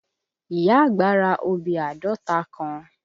Ìyá àgbá ra obì àádọ́ta kan.